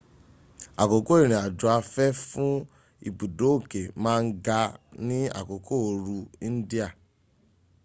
àkókò ìrìn àjò afẹ́ fún ibùdó òké ma ń ga ní àkókò oru india